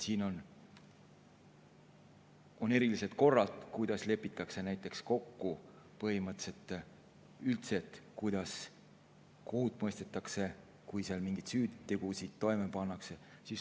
On erilised korrad, mille abil lepitakse näiteks põhimõtteliselt üldse kokku, kuidas kohut mõistetakse, kui seal mingeid süütegusid on toime pandud.